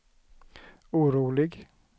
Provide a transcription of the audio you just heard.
orolig